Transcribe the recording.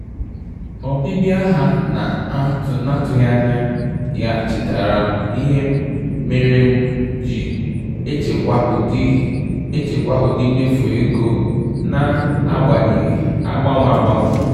Ọbịbịa ha na-atụghị anya ya chetaara m ihe mere m ji echekwa ụdị echekwa ụdị mmefu ego na-agbanwe agbanwe